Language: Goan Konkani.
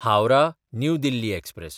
हावराह–न्यू दिल्ली एक्सप्रॅस